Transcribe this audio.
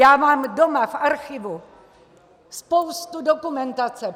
Já mám doma v archivu spoustu dokumentace.